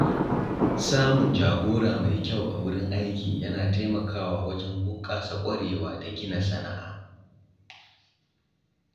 Samun jagora mai kyau a wurin aiki yana taimakawa wajen bunƙasa ƙwarewa da gina sana’a.